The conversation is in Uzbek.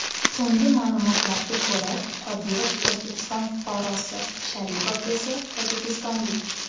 So‘nggi ma’lumotlarga ko‘ra, Qodirov O‘zbekiston fuqarosi, Sharipov esa tojikistonlik.